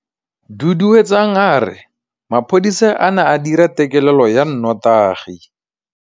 Duduetsang a re mapodisa a ne a dira têkêlêlô ya nnotagi.